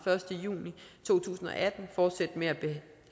første juni to tusind og atten fortsætte med